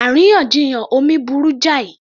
Àríyànjiyàn omi burú jáì